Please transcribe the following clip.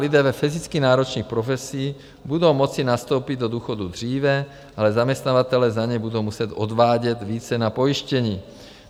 Lidé ve fyzicky náročných profesích budou moci nastoupit do důchodu dříve, ale zaměstnavatelé za ně budou muset odvádět více na pojištění.